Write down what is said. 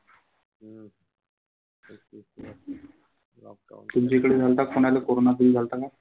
तुमच्या इकडे झालता का कोणाले कोरोना? तुल झालता का?